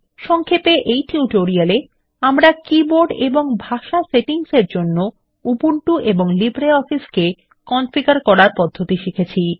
সংক্ষেপে এই টিউটোরিয়াল এ আমরা কীবোর্ড এবং ভাষা সেটিংস জন্য উবুন্টু এবং লিব্রিঅফিস এ কনফিগার করার পদ্ধতি শিখেছি